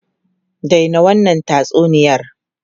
Dai na wannan tatsuniyar!